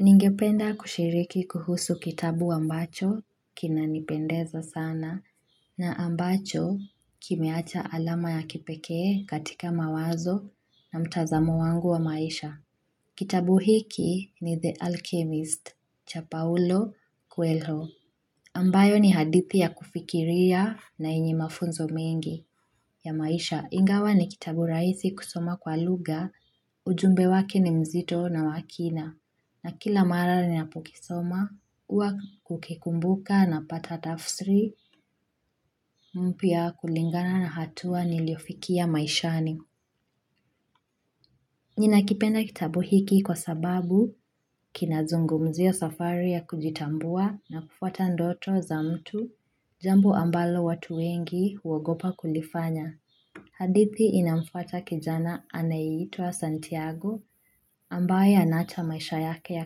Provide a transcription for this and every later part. Ningependa kushiriki kuhusu kitabu ambacho kinanipendeza sana na ambacho kimeacha alama ya kipekee katika mawazo na mtazamo wangu wa maisha. Kitabu hiki ni The Alchemist cha Paolo Kuelho. Ambayo ni hadithi ya kufikiria na yenye mafunzo mengi ya maisha. Ingawa ni kitabu rahisi kusoma kwa lugha, ujumbe wake ni mzito na wa kina. Na kila mara ninapokisoma, huwa hukikumbuka napata tafsiri mpya kulingana na hatua niliyofikia maishani. Ninakipenda kitabu hiki kwa sababu kinazungumzia safari ya kujitambua na kufuata ndoto za mtu, jambo ambalo watu wengi huogopa kulifanya. Hadithi inamfuata kijana anayeitwa Santiago ambaye anaacha maisha yake ya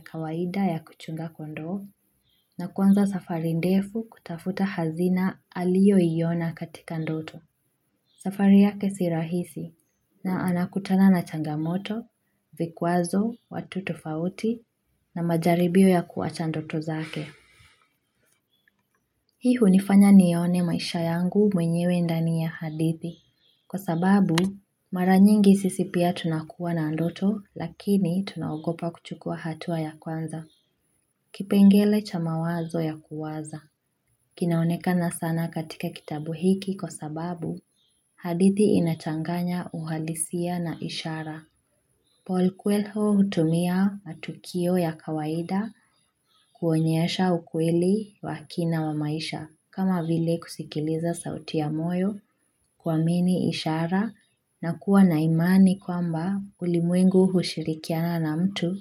kawaida ya kuchunga kondoo na kuanza safari ndefu kutafuta hazina aliyoiona katika ndoto. Safari yake si rahisi na anakutana na changamoto, vikwazo, watu tofauti na majaribio ya kuacha ndoto zake. Hii hunifanya nione maisha yangu mwenyewe ndani ya hadithi, kwa sababu mara nyingi sisi pia tunakuwa na ndoto lakini tunaogopa kuchukua hatua ya kwanza, kipengele cha mawazo ya kuwaza. Kinaonekana sana katika kitabu hiki kwa sababu hadithi inachanganya uhalisia na ishara. Paul Kuelho hutumia matukio ya kawaida kuonyesha ukweli wa kina wa maisha kama vile kusikiliza sauti ya moyo, kuamini ishara na kuwa na imani kwamba ulimwengu hushirikiana na mtu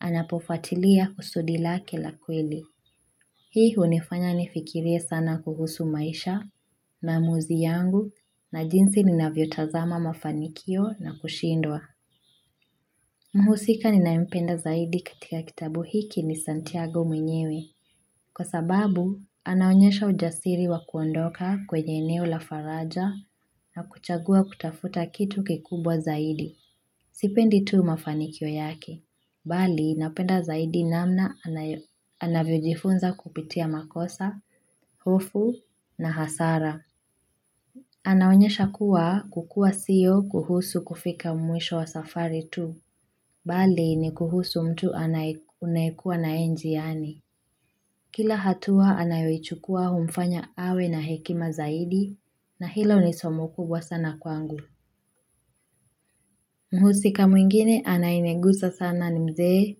anapofuatilia kusudi lake la kweli. Hii hunifanya nifikirie sana kuhusu maisha maamuzi yangu na jinsi ninavyotazama mafanikio na kushindwa. Mhusika ninayempenda zaidi katika kitabu hiki ni Santiago mwenyewe. Kwa sababu, anaonyesha ujasiri wa kuondoka kwenye eneo la faraja na kuchagua kutafuta kitu kikubwa zaidi. Sipendi tu mafanikio yake. Bali, napenda zaidi namna anavyojifunza kupitia makosa, hofu na hasara. Anaonyesha kuwa kukua sio kuhusu kufika mwisho wa safari tu. Bali ni kuhusu mtu unayekuwa na yeye njiani. Kila hatua anayoichukua humfanya awe na hekima zaidi na hilo ni somo kubwa sana kwangu. Mhusika mwingine anayenigusa sana ni mzee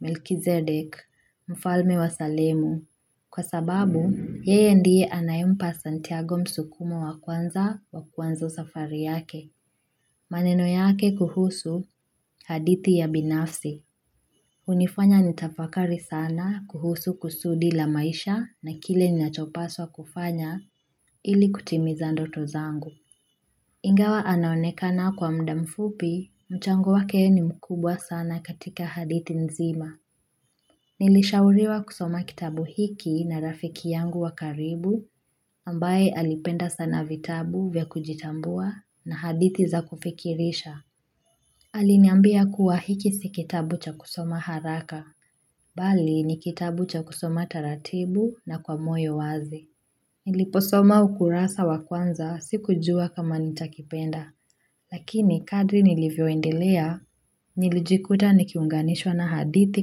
Melchizedek, mfalme wa salemu. Kwa sababu, yeye ndiye anayempa Santiago msukumo wa kuanza wa kuanza safari yake. Maneno yake kuhusu hadithi ya binafsi. Hunifanya nitafakari sana kuhusu kusudi la maisha na kile ninachopaswa kufanya ili kutimiza ndoto zangu. Ingawa anonekana kwa muda mfupi, mchango wake ni mkubwa sana katika hadithi nzima. Nilishauriwa kusoma kitabu hiki na rafiki yangu wa karibu ambaye alipenda sana vitabu vya kujitambua na hadithi za kufikirisha. Aliniambia kuwa hiki si kitabu cha kusoma haraka, bali ni kitabu cha kusoma taratibu na kwa moyo wazi. Niliposoma ukurasa wa kwanza sikujua kama nitakipenda, lakini kadri nilivyoendelea, nilijikuta nikiunganishwa na hadithi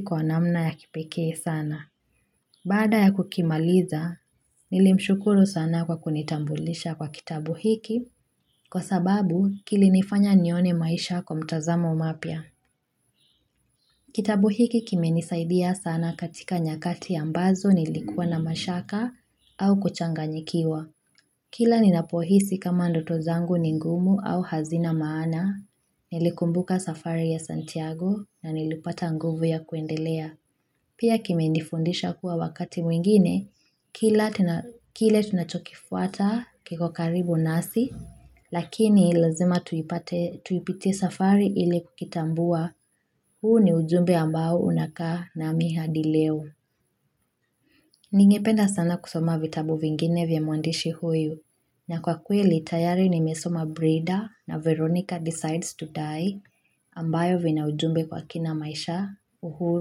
kwa namna ya kipekee sana. Baada ya kukimaliza, nilimshukuru sana kwa kunitambulisha kwa kitabu hiki, kwa sababu kilinifanya nione maisha kwa mtazamo mapya. Kitabu hiki kimenisaidia sana katika nyakati ambazo nilikuwa na mashaka au kuchanganyikiwa. Kila ninapohisi kama ndoto zangu ni ngumu au hazina maana, nilikumbuka safari ya Santiago na nilipata nguvu ya kuendelea. Pia kimenifundisha kuwa wakati mwingine, kile tunachokifuata kiko karibu nasi, lakini lazima tuipitie safari ili kukitambua, huu ni ujumbe ambao unakaa nami hadi leo. Ningependa sana kusoma vitabu vingine vya mwandishi huyu, na kwa kweli tayari nimesoma Brida na Veronica decides to die, ambayo vina ujumbe kwa kina maisha uhuru.